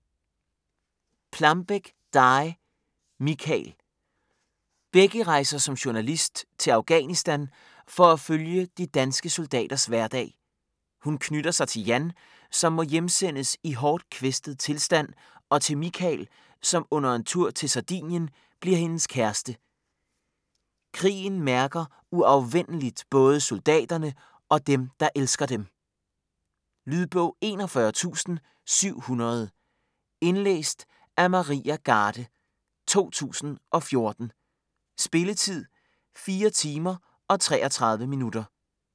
Plambeck, Dy: Mikael Becky rejser som journalist til Afghanistan for at følge de danske soldaters hverdag. Hun knytter sig til Jan, som må hjemsendes i hårdt kvæstet tilstand, og til Mikael, som under en tur til Sardinien bliver hendes kæreste. Krigen mærker uafvendeligt både soldaterne og dem, der elsker dem. Lydbog 41700 Indlæst af Maria Garde, 2014. Spilletid: 4 timer, 33 minutter.